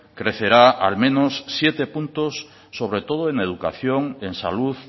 crecerá al menos siete puntos sobre todo en educación en salud